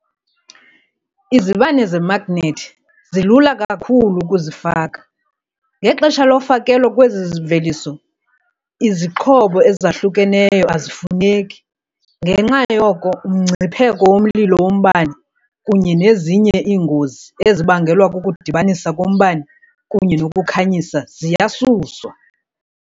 Izibane zemagnethi zilula kakhulu ukuzifaka, ngexesha lofakelo lwezi mveliso, izixhobo ezahlukeneyo azifuneki, ngenxa yoko umngcipheko womlilo wombane kunye nezinye iingozi ezibangelwa kukudibanisa kombane kunye nokukhanyisa ziyasuswa.